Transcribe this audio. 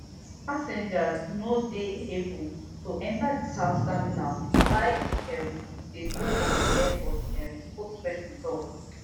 passengers no go dey able to enter di south terminal while e um dey go on di airport um spokesperson tok